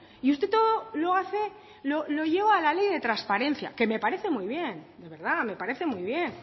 y usted todo lo lleva a la ley de transparencia que me parece muy bien de verdad me parece muy bien